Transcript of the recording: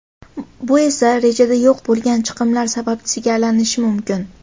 Bu esa, rejada yo‘q bo‘lgan chiqimlar sababchisiga aylanishi mumkin.